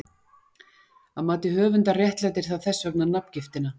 Að mati höfundar réttlætir það þess vegna nafngiftina.